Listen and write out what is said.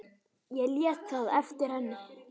Ég lét það eftir henni.